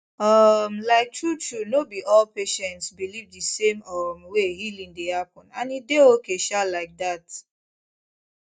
um like truetrue no be all patients believe the same um way healing dey happen and e dey okay um like that